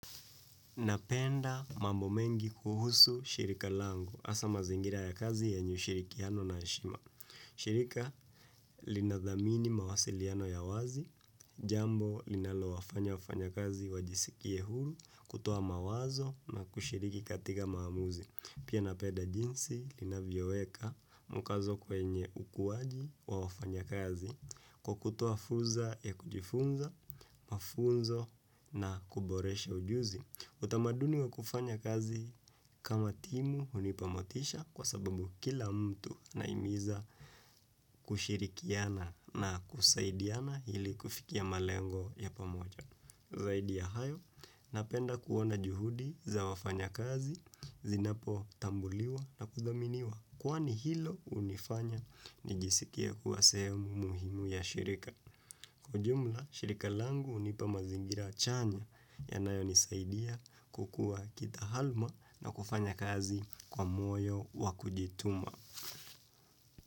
Napenda mambo mengi kuhusu shirika lango, asa mazingira ya kazi yenye ushirikiano na heshima. Shirika linadhamini mawasiliano ya wazi, jambo linalowafanya wafanyakazi wajisikie huru, kutoa mawazo na kushiriki katika maamuzi. Pia napenda jinsi linavyoweka mkazo kwenye ukuwaji wa wafanyakazi, kwa kutoa fuza ya kujifunza, mafunzo na kuboresha ujuzi. Utamaduni wa kufanya kazi kama timu hunipa motisha kwa sababu kila mtu naimiza kushirikiana na kusaidiana hili kufikia malengo ya pamoja. Zaidi ya hayo, napenda kuona juhudi za wafanyakazi, zinapotambuliwa na kudhaminiwa. Kwaani hilo unifanya nijisikie kuwa sehemu muhimu ya shirika. Kujumla, shirika langu hunipa mazingira chanya yanayonisaidia kukua kitahalma na kufanya kazi kwa moyo wa kujituma.